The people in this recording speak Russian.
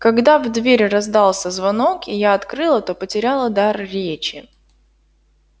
когда в дверь раздался звонок и я открыла то потеряла дар речи